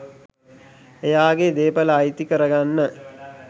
එයාගෙ දේපල අයිති කරගන්න.